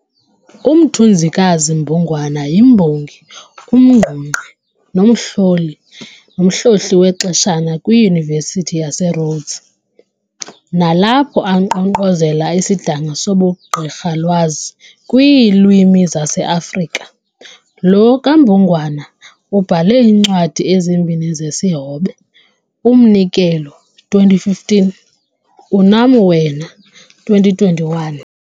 UMthunzikazi Mbungwana yimbongi, umngqungqi nomhlohli wexeshana kwiYunivesithi yaseRhodes, nalapho ankqonkqozela isidanga sobuGqirhalwazi kwiiLwimi zaseAfrika. Lo kaMbungwana ubhale iincwadi ezimbini zesihobe -"Umnikelo", 2015, "Unam Wena", 2021.